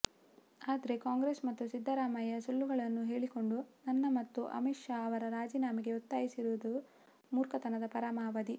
ಆದರೆ ಕಾಂಗ್ರೆಸ್ ಮತ್ತು ಸಿದ್ದರಾಮಯ್ಯ ಸುಳ್ಳುಗಳನ್ನು ಹೇಳಿಕೊಂಡು ನನ್ನ ಮತ್ತು ಅಮಿತ್ ಶಾ ಅವರ ರಾಜೀನಾಮೆಗೆ ಒತ್ತಾಯಿಸುತ್ತಿರುವುದು ಮೂರ್ಖತನದ ಪರಮಾವಧಿ